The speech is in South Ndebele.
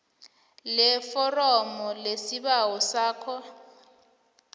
leforomo lesibawo sakho